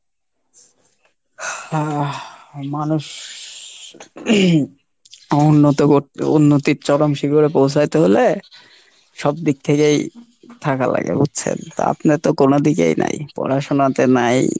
আহ মানুষ, উন্নত করতে উন্নতির চরম শিখরে পৌছাইতে হইলে সব দিক থেকেই থাকা লাগে বুজছেন। তা আপনার তো কোনো দিকেই নাই, পড়াশুনা তে নাই